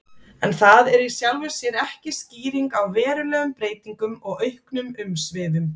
En það er í sjálfu sér ekki skýring á verulegum breytingum og auknum umsvifum.